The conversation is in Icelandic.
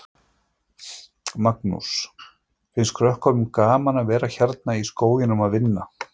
Magnús: Finnst krökkunum gaman að vera hérna í skóginum að vinna?